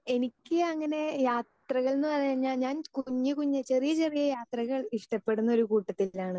speaker 2 എനിക്കങ്ങനെ യാത്രകളെന്ന് പറഞ്ഞാൽ ഞാൻ കുഞ്ഞുകുഞ്ഞ് ചെറിയ ചെറിയ യാത്രകൾ ഇഷ്ടപ്പെടുന്ന ഒരു കൂട്ടത്തിലാണ്